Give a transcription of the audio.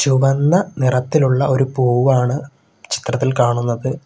ചുവന്ന നിറത്തിലുള്ള ഒരു പൂവാണ് ചിത്രത്തിൽ കാണുന്നത്.